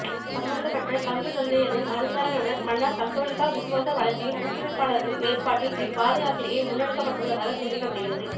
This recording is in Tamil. சம்பந்தப்பட்ட பங்குதந்தையினரின் அனுசரனையுடன் மன்னார் கத்தோலிக்க விசுவாச வளர்ச்சியின் ஊக்குவிப்பாளர்களின் ஏற்பாட்டில் இவ் பாதயாத்திரிகை முன்னெடுக்கப்பட்டுள்ளதாக தெரிவிக்கப்படுகிறது